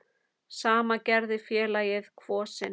Sama gerði félagið Kvosin.